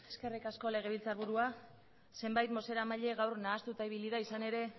eskerrik asko legebiltzarburua zenbait bozeramaile gaur nahastuta ibili da izan ere